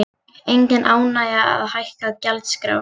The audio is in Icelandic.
Engin ánægja að hækka gjaldskrár